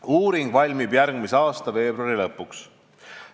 Uuring valmib järgmise aasta veebruari lõpuks.